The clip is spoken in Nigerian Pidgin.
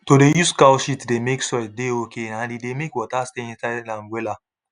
to dey use cow shit dey make soil dey okay and e dey make water stay inside am wella